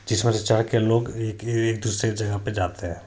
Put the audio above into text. लोग एक दूसरे की जगह पर जाते हैं।